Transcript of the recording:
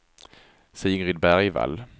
Sigrid Bergvall